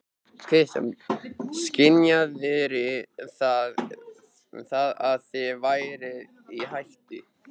Kristján: Skynjaðirðu það að þið væruð í hættu?